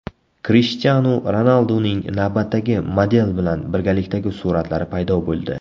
Krishtianu Ronalduning navbatdagi model bilan birgalikdagi suratlari paydo bo‘ldi.